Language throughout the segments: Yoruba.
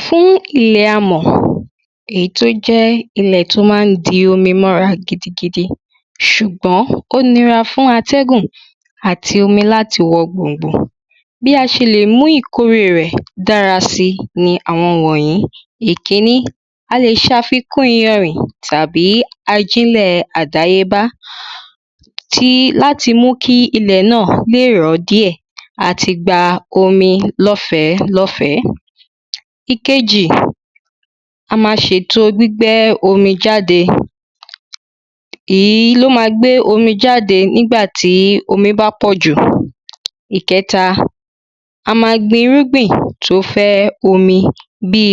Fún ilẹ̀ amọ̀ èyí tó jẹ́ ilẹ̀ tó má ń di omi mọ́ra gidi gidi ṣùgbọ́n ó nira fún atẹ́gùn àti omi láti wọbẹ̀ lọ. Bí a ṣe lè mú ìkórè rẹ̀ dára sí láwọn wọ̀nyìí ìkíní a lè ṣàfíkún iyanrìn tàbí ajílẹ̀ àdáyébá tí láti mú kí ilẹ̀ náà lè rọ̀ díẹ̀ àti gba omi lọ́fẹ̀lọ́fẹ̀ẹ́. Ìkejì a má ṣètò gbígbẹ́ omi jáde èyí ló má gbé omi jáde nígbà tómi bá pọ̀jù. Ìkẹta a má gbin irúgbìn tó fẹ́ omi bí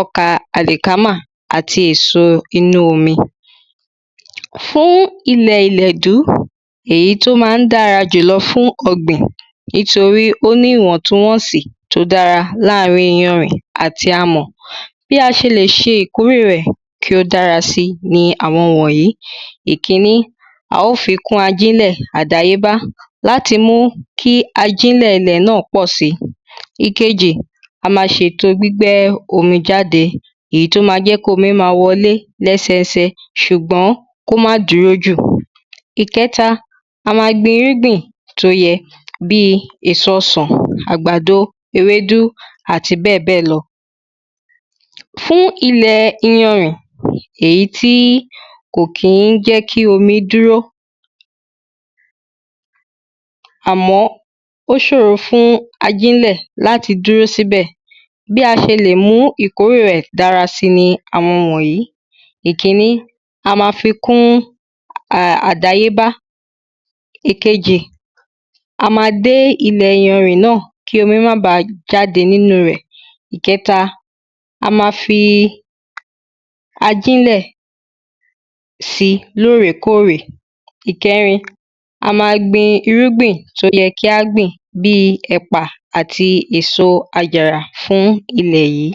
ọkà àlìkámà àti èso inú omi. Fún ilẹ̀ ìlẹ̀dú èyí tó má ń dára jù lọ fún ọ̀gbìn nítorí ó ní ìwọ̀ntúnwọ̀nsí tó dára láàrin iyanrìn àti amọ̀. Bí a ṣe lè ṣe ìkórẹ̀ rẹ̀ kí ó dára sí ni àwọn wọ̀nyìí. Ìkíní a ó fi kún ajílẹ̀ àdáyébá láti mú kí ajílẹ̀ ilẹ̀ náà pọ̀ sí. Ìkejì a má ṣèto gbígbẹ́ omi náà jáde èyí tó má jẹ́ kómi má wọlé lẹ́sẹ ẹsẹ ṣùgbọ́n kó má dúró jù. Ìkẹta a má gbinrúgbìn tó yẹ bí èso ọsàn ewédú àgbàdo àti bẹ́ẹ̀ bẹ́ẹ̀ lọ. Fún ilẹ̀ iyanrìn èyí tí kò kí ń jẹ́ kí omi dúró. àmọ́ ó ṣòro fún ajílẹ̀ láti dúró níbẹ̀ bí a ṣe lè mú ìkórè rẹ̀ dára sí ni àwọ wọ̀nyìí. Ìkíní a má fi kún àdáyé bá. Ìkejì a má dé ilẹ̀ iyanrìn náà kí omi má ba jáde nínú rẹ̀. Ìkẹta a má fi ajílẹ̀ sí lórèkórè. Ìkẹrin a má gbin irúgbìn tó yẹ ká gbìn bí ẹ̀pà àti èso àjàrà fún ilẹ̀ yìí.